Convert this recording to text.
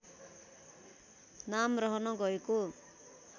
नाम रहन गएको